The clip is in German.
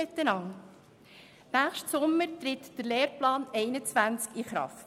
Im nächsten Sommer tritt der Lehrplan 21 in Kraft.